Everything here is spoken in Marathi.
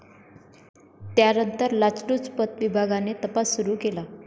त्यानंतर लाचलुचपत विभागाने तपास सुरू केला.